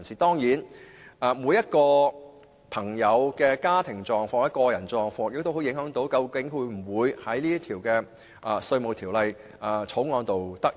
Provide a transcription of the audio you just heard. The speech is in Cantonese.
當然，每個人的家庭狀況或個人狀況均會影響他能否在《條例草案》中得益。